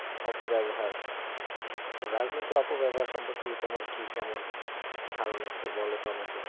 অপব্যাবহার তো রাজনীতির অপব্যাবহার সম্পর্কে তোমার কি কেমন ধারনা একটু বলোতো আমাকে?